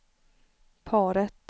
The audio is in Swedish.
paret